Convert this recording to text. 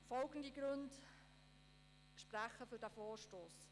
Die folgenden Gründe sprechen für diesen Vorstoss: